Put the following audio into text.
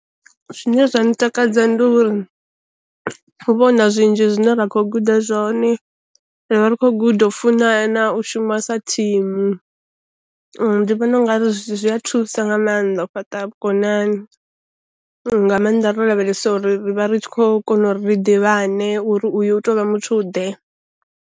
Zwine zwa ntakadza ndi uri hu vha hu na zwinzhi zwine ra khou guda zwone, ri vha ri khou guda funana, u shuma sa thimu ndi vhona u nga ri zwi a thusa nga mannḓa u fhaṱa vhukonani nga maanḓa ro lavhelesa uri vha ri tshi khou kona u ri ḓivhane uri uyu u tovha muthu ḓe.